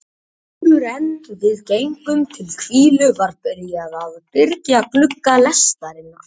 Áðuren við gengum til hvílu var byrjað að byrgja glugga lestarinnar.